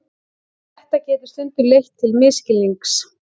Þetta getur stundum leitt til misskilnings.